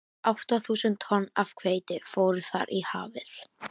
Átta þúsund tonn af hveiti fóru þar í hafið.